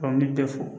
ne tɛ fo